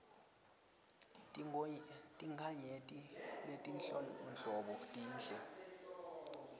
tinkhanyeti letinhlobonhlobo tinhle